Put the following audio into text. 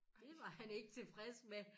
Dét var han ikke tilfreds med